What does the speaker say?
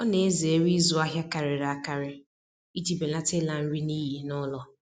Ọ na-ezere ịzụ ahịa karịrị akarị iji belata ịla nri n'iyi n'ụlọ